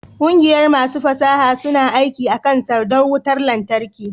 ƙungiyar masu fasaha suna aiki akan sandar wutar lantarki